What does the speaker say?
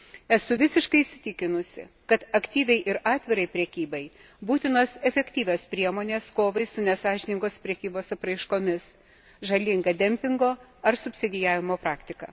Esu visiškai įsitikinusi, kad aktyviai ir atvirai prekybai būtinos efektyvios priemonės kovai su nesąžiningos prekybos apraiškomis, žalinga dempingo ar subsidijavimo praktika.